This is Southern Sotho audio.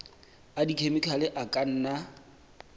a dikhemikhale a ka nna